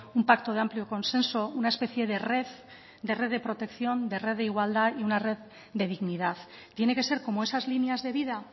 un pacto de amplio consenso una especie de red de red de protección de red de igualdad y una red de dignidad tiene que ser como esas líneas de vida